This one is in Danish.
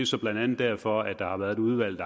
så blandt andet derfor at der har været et udvalg